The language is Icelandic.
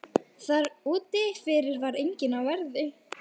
Þar úti fyrir var enginn á verði.